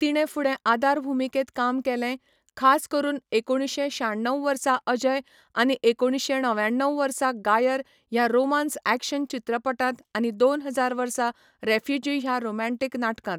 तिणें फुडें आदार भुमिकेंत काम केलें, खास करून एकुणशे शाण्णव वर्सा अजय आनी एकुणशे णव्याण्णव वर्सा गायर ह्या रोमान्स ऍक्शन चित्रपटांत आनी दोन हजार वर्सा रेफ्युजी ह्या रोमँटीक नाटकांत.